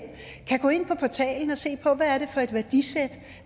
kan gå ind på portalen og se på hvad det er for et værdisæt